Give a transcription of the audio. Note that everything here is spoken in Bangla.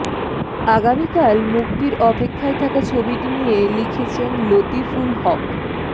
আগামীকাল মুক্তির অপেক্ষায় থাকা ছবিটি নিয়ে লিখেছেন লতিফুল হক